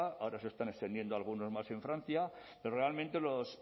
ahora se están extendiendo algunos más en francia pero realmente los